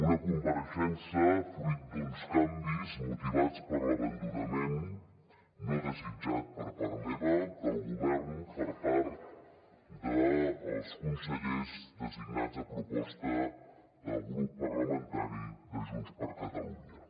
una compareixença fruit d’uns canvis motivats per l’abandonament no desitjat per part meva del govern per part dels consellers designats a proposta del grup parlamentari de junts per catalunya